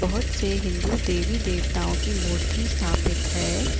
बहोत से हिन्दू देवी देवताओं की मूर्ति स्थापित है।